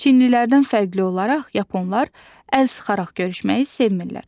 Çinlilərdən fərqli olaraq yaponlar əl sıxaraq görüşməyi sevmir.